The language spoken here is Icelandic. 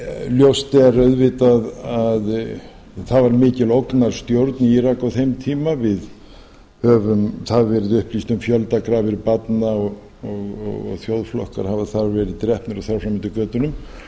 ljóst er auðvitað að það var mikil ógnarstjórn í írak á þeim tíma það hefur verið upplýst um fjöldagrafir barna og þjóðflokkar hafa þar verið drepnir og þar fram eftir götunum